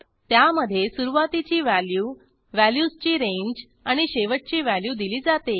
त्यामधे सुरूवातीची व्हॅल्यू व्हॅल्यूजची रेंज आणि शेवटची व्हॅल्यू दिली जाते